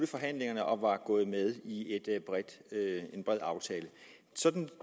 forhandlingerne og var gået med i en bred aftale sådan